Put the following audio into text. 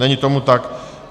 Není tomu tak.